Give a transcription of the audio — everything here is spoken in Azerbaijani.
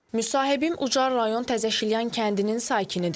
Müsahibim Ucar rayon Təzəşilyan kəndinin sakinidir.